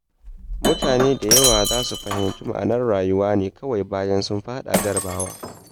Mutane da yawa za su fahimci ma’anar rayuwa ne kawai bayan sun faɗa jarabawa.